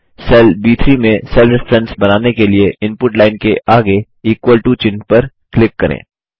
cell ब3 में cell reference बनाने के लिए इनपुट लाइन के आगे इक्वल टो चिह्न पर क्लिक करें